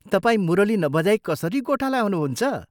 तपाईं मुरली नबजाई कसरी गोठाला हुनुहुन्छ?